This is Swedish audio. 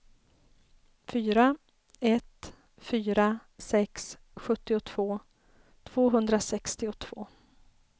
fyra ett fyra sex sjuttiotvå tvåhundrasextiotvå